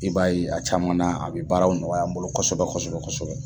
I b'a ye a caman na a bi baaraw nɔgɔya an bolo kɔsɛbɛ kɔsɛbɛ kɔsɛbɛ kɔsɛbɛ.